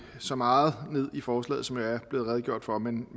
så meget ned i forslaget som der er blevet redegjort for men